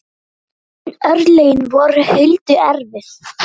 En örlögin voru Huldu erfið.